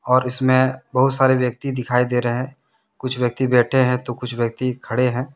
और इसमें बहुत सारे व्यक्ति दिखाई दे रहे हैं कुछ व्यक्ति बैठे हैं तो कुछ व्यक्ति खड़े हैं।